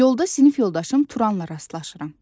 Yolda sinif yoldaşım Turanla rastlaşıram.